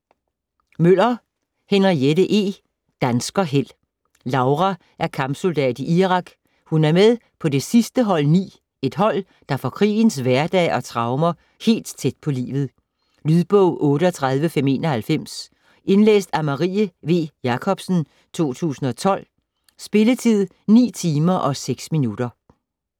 Møller, Henriette E.: Danskerheld Laura er kampsoldat i Irak, hun er med på det sidste hold 9, et hold der får krigens hverdag og traumer helt tæt på livet. Lydbog 38591 Indlæst af Marie V. Jakobsen, 2012. Spilletid: 9 timer, 6 minutter.